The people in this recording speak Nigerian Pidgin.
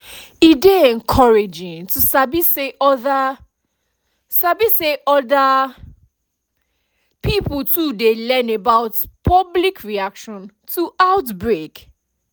e dey encouraging to sabi say other sabi say other pipo too dey learn about public reaction to outbreak